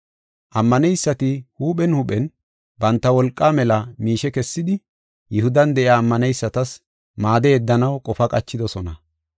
Ammaneysati huuphen huuphen banta wolqaa mela miishe kessidi Yihudan de7iya ammaneysatas maade yeddanaw qofa qachidosona.